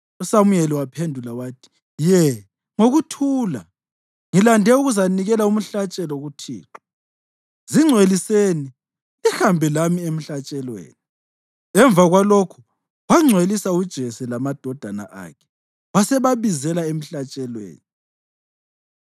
USamuyeli waphendula wathi, “Ye, ngokuthula; ngilande ukuzanikela umhlatshelo kuThixo. Zingcweliseni lihambe lami emhlatshelweni.” Emva kwalokho wangcwelisa uJese lamadodana akhe wasebabizela emhlatshelweni.